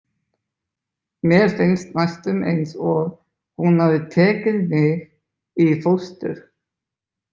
Mér finnst næstum eins og hún hafi tekið mig í fóstur.